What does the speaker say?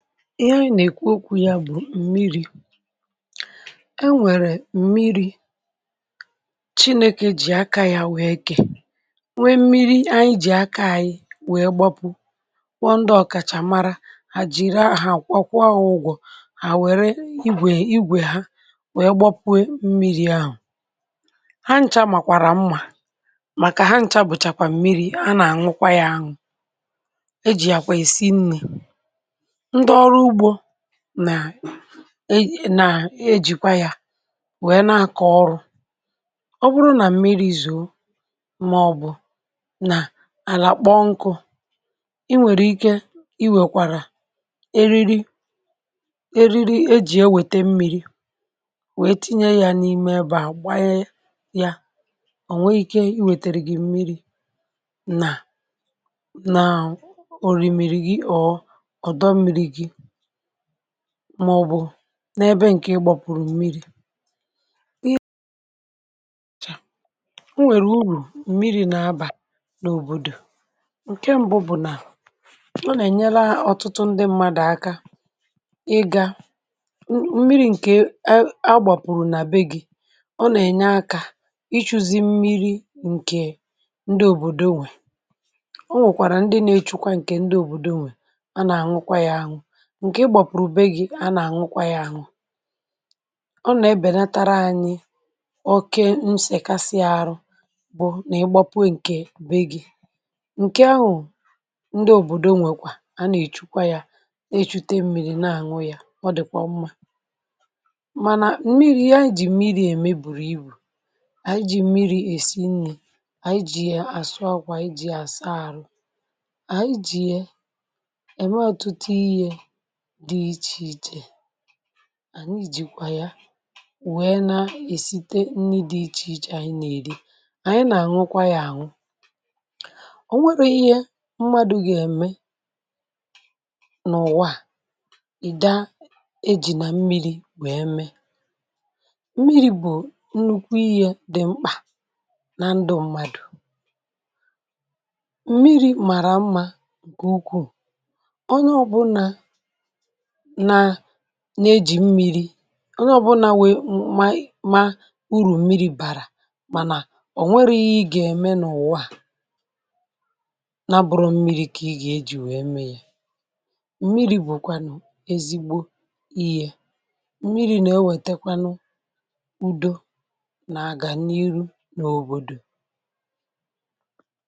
ihe anyị nà-èkwu okwu̇ ya bụ̀ m̀miri ẹ nwẹ̀rẹ̀ m̀miri̇ chinėkè jì aka ya weė kè nwee m̀miri anyị jì aka ànyị wee gbapụ kpọ ndị ọ̀kàchà mara hà jìra hà àkwụọ ha ụgwọ̇ hà wẹ̀rẹ igwè igwè ha wee gbọpụė m̀miri ahù ha nchȧ màkwàrà mmà màkà ha nchȧ bùchàkwà m̀miri a nà ànwụkwa ya anwụ e ji ya kwa esi nni̇ ndi ọrụ igbọ nà na ejìkwa yȧ na-àkọ ọrụ̇ ọ bụrụ nà mmiri̇ zùu màọbụ̀ nà àlà kpọ nkụ̇ i nwèrè ike i wèkwàrà eriri eriri ejì ewète mmiri̇ nwètinye yȧ n’ime ebà gbanye yȧ ò nwee ikė i nwètèrè gị̀ mmiri̇ nà nà òrìmìrì gị ọ̀ ọdọ mmiri̇ gị̇ màọ̀bụ̀ n’ebe ǹkè ị gbapụ̀rụ̀ mmiri̇ ị ịrị̇chà, o nwèrè urù mmiri̇ nà abà n’òbòdò ǹkẹ mbụ bụ̀ nà ọ nà ènyela ọ̀tụtụ ndị mmadụ̀ aka ị gȧ, mmiri̇ ǹkè a gbàpụ̀rụ̀ nà be gị̇ ọ nà ẹ̀nyẹ akȧ ịchu̇zi̇ mmiri̇ ǹkè ndị òbòdò nwè o nwèkwàrà ndị nȧ ẹchukwa ǹkè ndị òbòdò nwè a nà ànwụkwa yȧ ànwụ ǹkè ị gbapụ̀rụ̀ be gị̇ a nà-àṅụkwa yȧ àṅụ ọ nà-ebènetara anyị̇ oke nsèkasi arụ bụ nà ị gbapụ ọ ǹkè be gị̇ ǹkè ahụ̀ ndị òbòdo nwèkwà a nà-èchùkwa yȧ na echute mmi̇ri̇ na-àṅụ yȧ ọ dị̀kwà mmȧ mànà mmiri̇ ya ejì mmiri̇ ème bùrù ibù ànyi jì mmiri̇ èsi nni̇ ànyi jì yà àsụakwa, anyi jì ya àsa àrụ ànyi jì ye ème ọ̀tụtụ ihė dị ichè ichè ànyị jìkwà ya wèe na-èsite nni dị̇ ichè ichè ànyị nà-èri ànyị nà-àṅụkwa yȧ àṅụ o nwere ihe mmadụ̇ gà-ème nà ụ̀wa à ìda ejì nà mmiri̇ wèe me mmiri̇ bụ̀ nnukwu ihė dị̀ mkpà na ndụ mmadụ̀ mmiri̇ màrà mmȧ nke ukwụụ ọnye ọbụnȧ nà nȧ-ėjì mmiri̇ ọ nye ọ buna ma mà urù mmiri̇ bàrà mànà ọ̀ nweghi ịhe i gà-ème n’ụ̀wa a nabụ̇rọ mmiri̇ kà ị gà-ejì wèe mee yȧ m̀miri̇ bụ̀kwànụ̀ ezigbo ihė m̀miri̇ nà-ewètekwanụ udo nà-àgàm n’ihu nà òbòdò.